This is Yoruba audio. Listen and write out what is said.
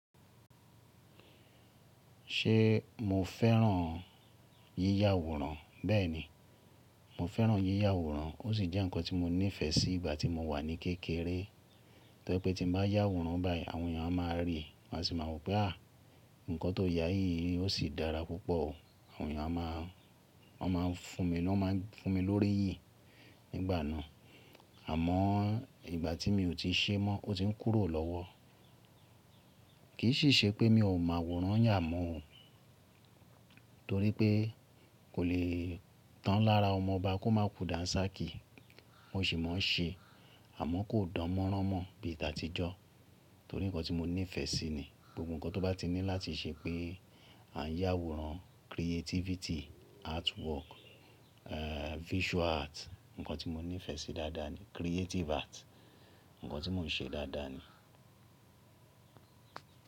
Ṣé mo fẹ́ràn yí yàwòrán? Bẹ́ẹ̀ni, mo fẹ́ràn yí yàwòrán. Ó sì jẹ́ ǹkan tí mo nífẹ̀ẹ́ sí ìgbà tí mo wà ní kékeré. Torí pé tí mo bá yàwòrán báyìí, àwọn èèyàn a máa ríi, má sì máa a wo pé à, ǹkan tó ya yìí, ó sì dára púpọ̀ o. Àwọn èèyàn a máa, won máa ń fún mi, wọ́n a máa ń fún mi lórí yìí nígbà náà. Àmọ́ ìgbà tí mi ò tí ṣee mọ́, ó ti ń kúrò lọ́wọ́. Kì í sì ṣe pé mi ò mọ àwòrán yà mọ́ o. Torí pé kò lè tán lára ọmọ ọba kó máa ku dàńsàkí. Mo sì mọ̀ ọ́n ṣe, àmọ́ kò dán mọ́rán mọ́ bíi t'àtijọ́. Torí ǹkan tí mo nífẹ̀ẹ́ sí ni. Gbogbo ǹkan tó bá ti ní láti ṣe pé a ń yàwòrán, creativity, artwork, eh visual art, ǹkan tí mo nífẹ̀ẹ́ sí dáadáa ni. Creative art, ǹkan tí mò ń ṣe dáadáa ni.